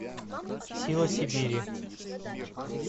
сила сибири